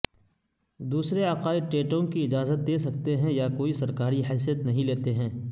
دوسرے عقائد ٹیٹونگ کی اجازت دے سکتے ہیں یا کوئی سرکاری حیثیت نہیں لیتے ہیں